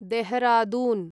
Dehradun